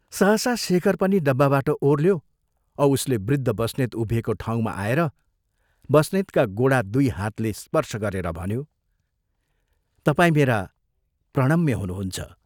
सहसा शेखर पनि डब्बाबाट ओर्ल्यो औ उसले वृद्ध बस्नेत उभिएको ठाउँमा आएर बस्नेतका गोडा दुइ हातले स्पर्श गरेर भन्यो, "तपाई मेरा प्रणम्य हुनुहुन्छ।